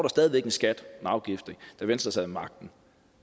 stadig væk en skat en afgift da venstre sad ved magten